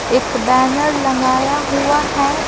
एक बैनर लगाया हुआ है ।